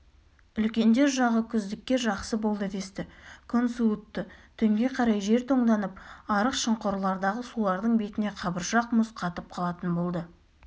үлкендер жағы күздікке жақсы болды десті күн суытты түнге қарай жер тоңданып арық-шұңқырлардағы сулардың бетіне қабыршақ мұз қатып қалатын болды